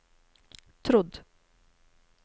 trodd